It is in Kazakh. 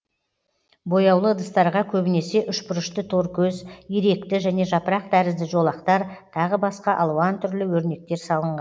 бояулы ыдыстарға көбінесе үшбұрышты торкөз иректі және жапырақ тәрізді жолақтар тағы басқа алуан түрлі өрнектер салынған